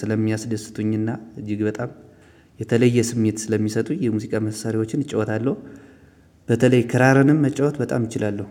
ስለሚያስደስቱኝና እጅግ በጣም የተለየ ስሜት ስለሚሰጡኝ የሙዚቃ መሳሪያዎችን እጫወታለሁ። በተለይ ክራርንም መጫወት በጣም እችላለሁ